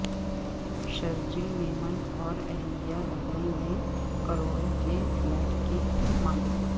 شرجیل میمن اور اہلیہ دبئی میں کروڑوں کےفلیٹ کے مالک